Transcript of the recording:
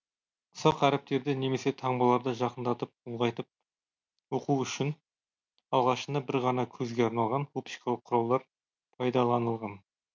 ұсақ әріптерді немесе таңбаларды жақындатып ұлғайтып оқу үшін алғашында бір ғана көзге арналған оптикалық құралдар пайдаланылған